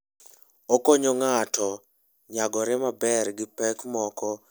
Okonyo ng'ato nyagore maber gi pek moko manyalo betie e wuoth.